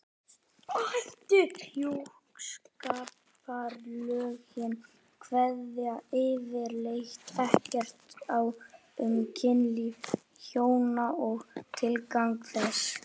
Hjúskaparlögin kveða yfirleitt ekkert á um kynlíf hjóna og tilgang þess.